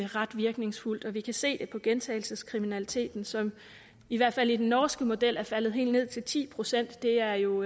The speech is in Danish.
ret virkningsfuldt vi kan se det på gentagelseskriminaliteten som i hvert fald i den norske model er faldet helt ned til ti procent det er jo